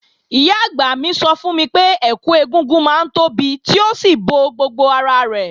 Ìyá-àgbà mi sọ fún mi pé, ẹkù ẹ̀gúngún máa ń tóbi tí ó sì bo gbogbo ara rẹ̀.